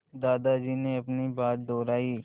दादाजी ने अपनी बात दोहराई